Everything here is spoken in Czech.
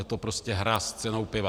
Je to prostě hra s cenou piva.